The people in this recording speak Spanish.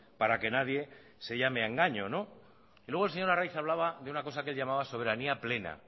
para que nadie se llame a engaño y luego el señor arraiz hablaba de una cosa que él llamaba soberanía plena